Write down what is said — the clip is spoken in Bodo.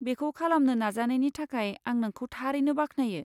बेखौ खालामनो नाजानायनि थाखाय आं नोंखौ थारैनो बाख्नायो।